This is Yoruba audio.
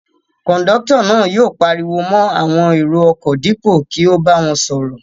Kọ̀ńdọ́tọ̀ náà yóò pariwo mọ́ àwọn èrò-ọkọ̀ dípò kí ó bá wọn sọ̀rọ̀.